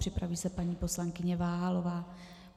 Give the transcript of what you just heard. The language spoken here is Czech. Připraví se paní poslankyně Váhalová.